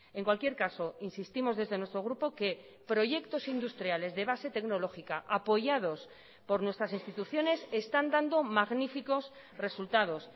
en cualquier caso insistimos desde nuestro grupo que proyectos industriales de base tecnológica apoyados por nuestras instituciones están dando magníficos resultados